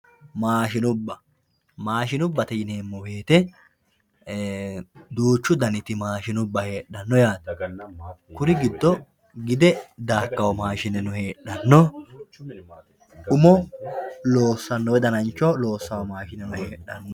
maashinubba maashinubbate yineemmo woyiite duuchu daniti maashinubba heeshanno kuri giddo gide daakkanno maashinubbano heedhanno umo loossawo woy danancho loossanno maashine heedhanno.